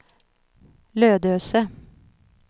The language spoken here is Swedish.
Lödöse